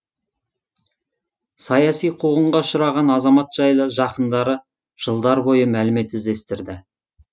саяси қуғынға ұшыраған азамат жайлы жақындары жылдар бойы мәлімет іздестірді